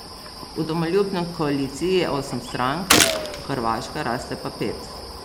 V Domoljubni koaliciji je osem strank, v Hrvaška raste pa pet.